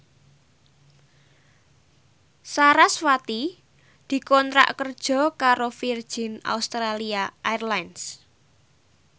sarasvati dikontrak kerja karo Virgin Australia Airlines